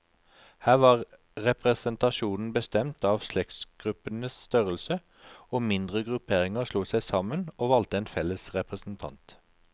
Her var representasjonen bestemt av slektsgruppenes størrelse, og mindre grupperinger slo seg sammen, og valgte en felles representant.